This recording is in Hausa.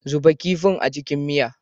Zuba kifin a cikin miya.